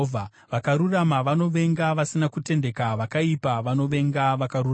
Vakarurama vanovenga vasina kutendeka; vakaipa vanovenga vakarurama.